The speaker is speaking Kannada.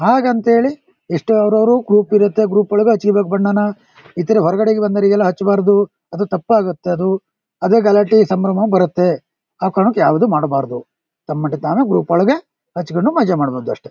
ಹಾಗಂತ್ ಹೇಳಿ ಎಷ್ಟು ಅವ್ರ್ ಅವ್ರ್ ಗ್ರೂಪ್ ಇರತ್ತೆ. ಗ್ರೂಪ್ ಒಳಗೆ ಹಚ್ಕೋಬೇಕು ಬಣ್ಣನ ಇತರೆ ಹೊರಗಡೆ ಇರೋ ಬಂದೋರಿಗೆಲ್ಲಾ ಹಚ್ಬಾರ್ದು ಅದು ತಪ್ಪಾಗತ್ತೆ ಅದು. ಅದೇ ಗಲಾಟೆ ಸಂಭ್ರಮ ಬರತ್ತೆ ಯಾವ್ ಕಾರಣಕ್ಕ್ ಯಾವ್ದು ಮಾಡ್ಬಾರ್ದು. ತಮ್ಮೊಟ್ಟಿಗ್ ತಾವೇ ಗ್ರೂಪ್ ಒಳಗೆ ಹಚ್ಕೊಂಡು ಮಜಾ ಮಾಡಬೋದು ಅಷ್ಟೇ.